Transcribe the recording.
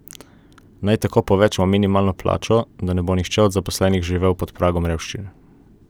Naj tako povečamo minimalno plačo, da ne bo nihče od zaposlenih živel pod pragom revščine?